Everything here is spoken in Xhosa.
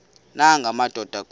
nanga madoda kuba